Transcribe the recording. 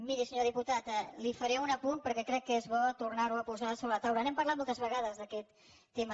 miri senyor diputat li faré un apunt perquè crec que és bo tornar ho a posar sobre la taula i n’hem parlat moltes vegades d’aquest tema